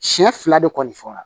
Siɲɛ fila de kɔni fɔra